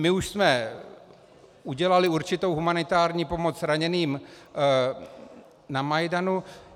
My už jsme udělali určitou humanitární pomoc raněným na Majdanu.